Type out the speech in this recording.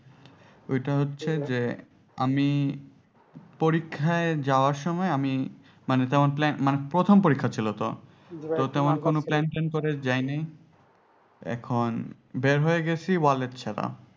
ওইটা হচ্ছে যে আমি পরীক্ষাই যাওয়ার সময় আমি মানে তেমন মানে প্রথম পরীক্ষা ছিল তো, তো তেমন plan ট্যান করে যায়নি এখন বের হয়ে গেছি wallet ছাড়া